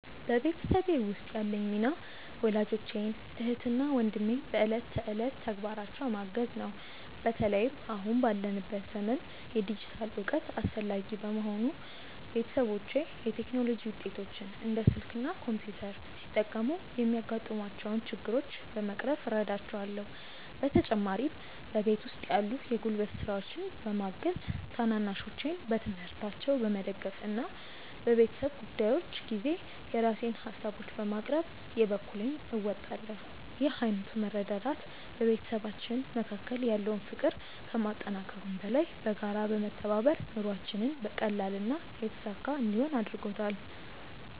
በቤተሰቤ ውስጥ ያለኝ ሚና ወላጆቼን፣ እህትና ወንድሜን በዕለት ተዕለት ተግባራቸው ማገዝ ነው። በተለይም አሁን ባለንበት ዘመን የዲጂታል እውቀት አስፈላጊ በመሆኑ፣ ቤተሰቦቼ የቴክኖሎጂ ውጤቶችን (እንደ ስልክ እና ኮምፒውተር) ሲጠቀሙ የሚያጋጥሟቸውን ችግሮች በመቅረፍ እረዳቸዋለሁ። በተጨማሪም በቤት ውስጥ ያሉ የጉልበት ስራዎችን በማገዝ፣ ታናናሾቼን በትምህርታቸው በመደገፍ እና በቤተሰብ ጉዳዮች ጊዜ የራሴን ሃሳቦችን በማቅረብ የበኩሌን እወጣለሁ። ይህ ዓይነቱ መረዳዳት በቤተሰባችን መካከል ያለውን ፍቅር ከማጠናከሩም በላይ፣ በጋራ በመተባበር ኑሯችንን ቀላልና የተሳካ እንዲሆን አድርጎታል።